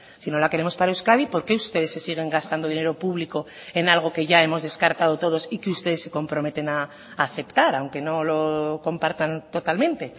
si no la queremos para euskadi por qué ustedes se siguen gastando dinero público en algo que ya hemos descartado todos y que ustedes se comprometen a aceptar aunque no lo compartan totalmente